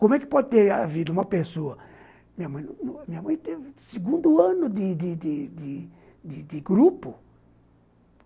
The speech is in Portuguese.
Como é que pode ter a vida uma pessoa... Minha mãe minha mãe teve o segundo ano de de de grupo.